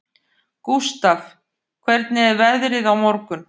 Gústaf, hvernig er veðrið á morgun?